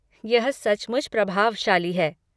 यह सचमुच प्रभावशाली है।